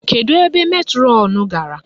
Kedu ebe metrọnụ gara?